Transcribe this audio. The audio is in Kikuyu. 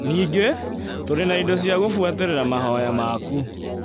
Ningĩ, tũrĩ na indo cia gũbũatĩrĩra mahoya maku